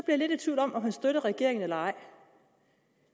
jeg lidt i tvivl om om han støtter regeringen eller ej